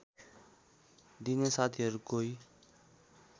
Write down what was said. दिने साथीहरू कोही